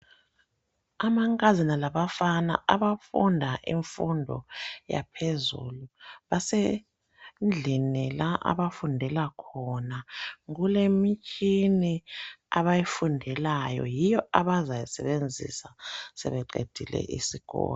Amankazana labafana abafunda imfundo yaphezulu basendlini la abafundela khona. Kulemitshina abayifundelayo yiyo abazayisebenzisa sebeqedile isikolo